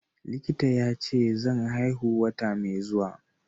Likita yace zan haihu wata mai zuwa.